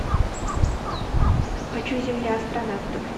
хочу земля астронавтов